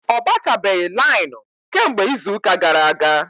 Ọ batabeghi lainụ kemgbe izuuka gara aga.